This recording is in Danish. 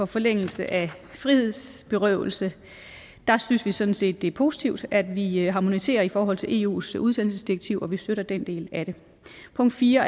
forlængelse af frihedsberøvelse synes vi sådan set det er positivt at vi harmoniserer i forhold til eus udsendelsesdirektiv og vi støtter den del af det punkt fire